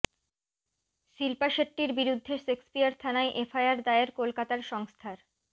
শিল্পা শেট্টির বিরুদ্ধে শেক্সপিয়ার থানায় এফআইআর দায়ের কলকাতার সংস্থার